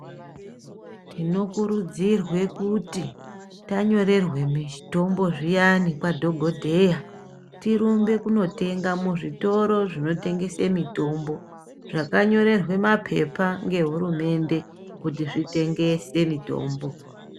Tinokurudzirwe kuti tanyorerwe mitombo zviyani kwadhogodheya. Tirumbe kunotenga muzvitoro zvinotengese mitombo. Zvakanyorerwa mapepa ngehurumende kuti zvitengese mitombo.